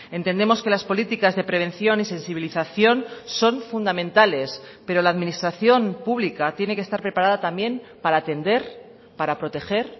entendemos que las políticas de prevención y sensibilización son fundamentales pero la administración pública tiene que estar preparada también para atender para proteger